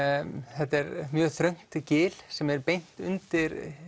þetta er mjög þröngt gil sem er beint undir